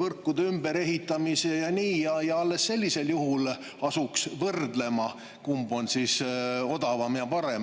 võrkude ümberehitamise ja nii, ja alles sellisel juhul asuks võrdlema, kumb on siis odavam ja parem.